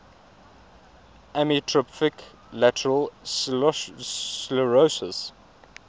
amyotrophic lateral sclerosis